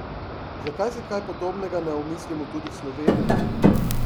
Zakaj si kaj podobnega ne omislimo tudi v Sloveniji?